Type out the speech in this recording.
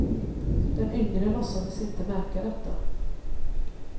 Den yngre låtsades inte märka detta.